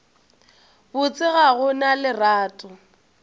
botse ga go na lerato